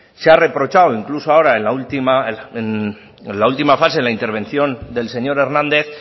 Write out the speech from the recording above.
se ha reprochado incluso en la última fase en la intervención del señor hernández